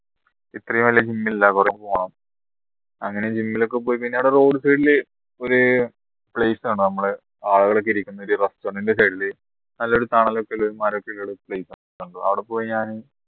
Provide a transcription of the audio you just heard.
ഇത്രയും വലിയ gym ഇല്ല കുറെ പോണം അങ്ങനെ gym ൽ ഒക്കെ പോയി കഴിഞ്ഞാൽ അവിടെ road side ൽ ഒരു place ആണ് നമ്മളെ ആളുകളൊക്കെ ഇരിക്കുന്ന ഒരു restaurant ന്റെ side ൽ നല്ലൊരു തണലൊക്കെ ഉള്ള അവിടെ പോയി ഞാന്